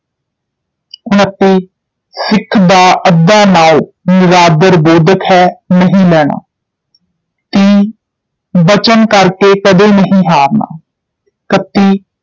ਉਨੱਤੀ ਸਿੱਖ ਦਾ ਅੱਧਾ ਨਾਉਂ ਨਿਰਾਦਰ-ਬੋਧਕ ਹੈ ਨਹੀਂ ਲੈਣਾ ਤੀਹ ਬਚਨ ਕਰ ਕੇ ਕਦੇ ਨਹੀਂ ਹਾਰਨਾ ਇਕੱਤੀ